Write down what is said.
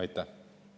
Aitäh!